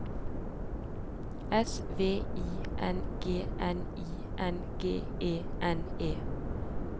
S V I N G N I N G E N E